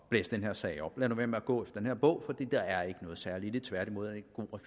blæse den her sag op lad nu være med at gå efter den her bog for der er ikke noget særligt i tværtimod